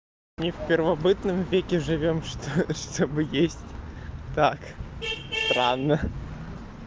ни в первобытном веке живём что что бы есть так рано